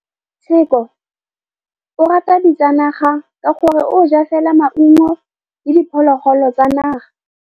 Tshekô o rata ditsanaga ka gore o ja fela maungo le diphologolo tsa naga.